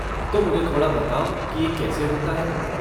तो मुझे थोड़ा बताओ की ये कैसे होता है।